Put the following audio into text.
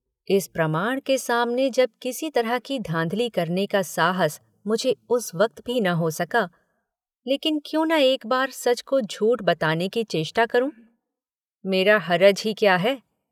इस प्रमाण के सामने जब किसी तरह की धाँधली करने का साहस मुझे इस वक्त भी न हो सका लेकिन क्यों न एक बार सच को झूठ बताने की चेष्टा करूँ मेरा हरज ही क्या है।